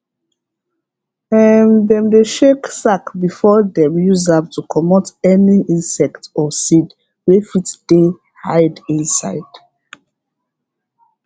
dem dey shake sack before dem use am to comot any insect or seed wey fit dey hide inside